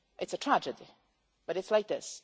It is a tragedy, but it is like